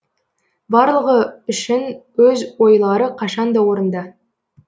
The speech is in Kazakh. барлығы үшін өз ойлары қашан да орынды